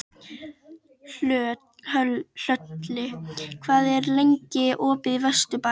Hlölli, hvað er lengi opið í Vesturbæjarís?